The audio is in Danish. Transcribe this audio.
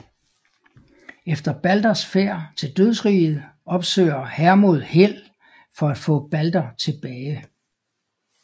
Efter Balders færd til dødsriget opsøger Hermod Hel for at få Balder tilbage